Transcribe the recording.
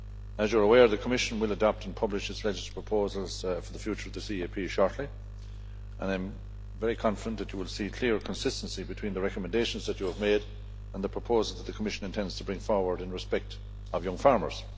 As you are aware, the Commission will adopt and publish its legislative proposals for the future of the CAP shortly, and I am very confident that you will see clear consistency between the recommendations that you have made, and the proposal that the Commission intends to bring forward in respect of young farmers.